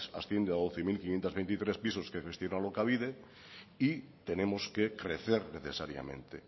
asciende a doce mil quinientos veintitrés pisos que gestiona alokabide y tenemos que crecer necesariamente